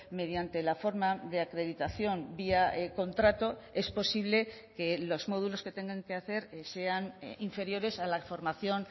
mediante la forma de acreditación vía contrato es posible que los módulos que tengan que hacer sean inferiores a la formación